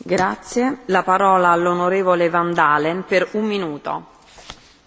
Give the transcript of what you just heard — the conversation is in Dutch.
Voorzitter, de basis voor veel huidige ontwikkelingen is al honderden jaren geleden gelegd.